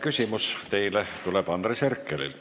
Küsimus teile tuleb Andres Herkelilt.